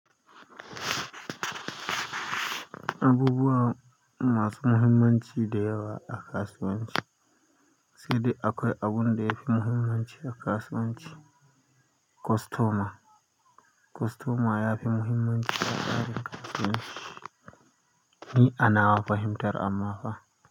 Abubuwa masu muhimmanci da yawa a kasuwanci. Sai dai akwai abun da ya fi muhimmanci a kasuwanci. Kostoma. Kostoma ya fi muhimmanci a tsarin kasuwanci. Ni a nawa fahimtar amma fa.